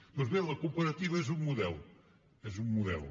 doncs bé la cooperativa és un model és un model